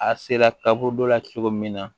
A sera kaburu dɔ la cogo min na